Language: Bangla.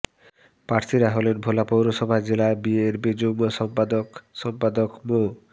প্রার্থীরা হলেন ভোলা পৌরসভায় জেলা বিএনপির যুগ্ম সম্পাদক সম্পাদক মো